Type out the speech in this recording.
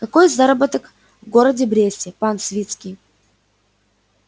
какой заработок в городе бресте пан свицкий